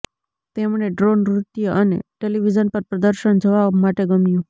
તેમણે ડ્રો નૃત્ય અને ટેલિવિઝન પર પ્રદર્શન જોવા માટે ગમ્યું